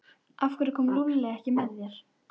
Hann kyngdi nokkrum sinnum og neri saman höndunum.